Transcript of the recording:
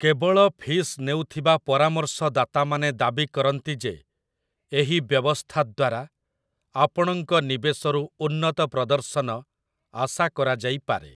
କେବଳ ଫିସ୍ ନେଉଥିବା ପରାମର୍ଶଦାତାମାନେ ଦାବି କରନ୍ତି ଯେ ଏହି ବ୍ୟବସ୍ଥା ଦ୍ୱାରା ଆପଣଙ୍କ ନିବେଶରୁ ଉନ୍ନତ ପ୍ରଦର୍ଶନ ଆଶା କରାଯାଇପାରେ ।